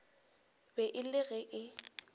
be e le ge e